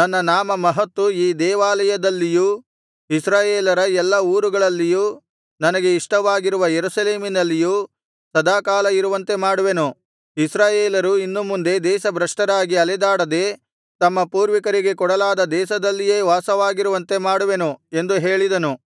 ನನ್ನ ನಾಮ ಮಹತ್ತು ಈ ದೇವಾಲಯದಲ್ಲಿಯೂ ಇಸ್ರಾಯೇಲರ ಎಲ್ಲಾ ಊರುಗಳಲ್ಲಿಯೂ ನನಗೆ ಇಷ್ಟವಾಗಿರುವ ಯೆರೂಸಲೇಮಿನಲ್ಲಿಯೂ ಸದಾಕಾಲ ಇರುವಂತೆ ಮಾಡುವೆನು ಇಸ್ರಾಯೇಲರು ಇನ್ನು ಮುಂದೆ ದೇಶಭ್ರಷ್ಟರಾಗಿ ಅಲೆದಾಡದೆ ತಮ್ಮ ಪೂರ್ವಿಕರಿಗೆ ಕೊಡಲಾದ ದೇಶದಲ್ಲಿಯೇ ವಾಸವಾಗಿರುವಂತೆ ಮಾಡುವೆನು ಎಂದು ಹೇಳಿದನು